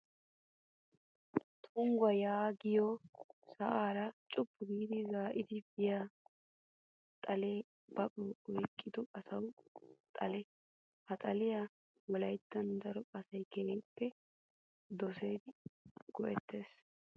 Tungguwaa yaagiyoo sa"aara cuppu giidi zaa"idi biyaa xalee baqew oyiqqido asawu xale. Ha xaliyaa wolayittan daro asayi keehippe dosidi go'ettes.